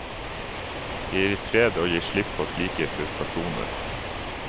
Det gir fred å gi slipp på slike frustrasjoner.